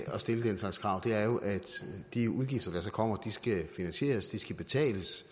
at stille den slags krav er jo at de udgifter der så kommer skal finansieres de skal betales